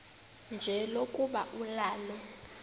nje lokuba ulale